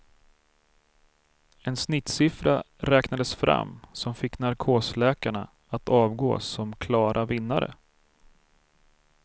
En snittsiffra räknades fram som fick narkosläkarna att avgå som klara vinnare.